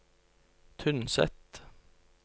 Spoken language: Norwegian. Tynset